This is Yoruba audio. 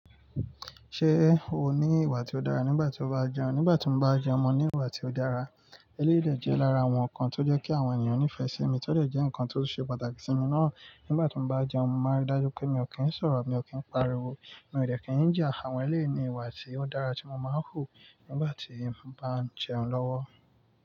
Ṣé o ní ìwà tí ó dára nígbà tí o bá jẹun? Nígbà tí mo bá jẹun mo ní ìwà tí ó dára. Eléyìí dẹ̀ jẹ́ lára àwọn ǹnkan tó jẹ́ kí àwọn ènìyàn nífẹ̀ẹ́ sí mi, tó dẹ̀ jẹ́ ǹnkan tó ṣe pàtàkì sí mi náà. Nígbà tí mo bá jẹun, mo máa ń ri dájú wipé mi ò kì n ṣọ́ro, mi ò kì n pariwo, mi ò dẹ̀ kì n jà àwọn ẹlẹ́yii ní ìwà tí ó dára tí mo máa ń hù nígbà tí mo bá ń jẹun lọ́wọ́.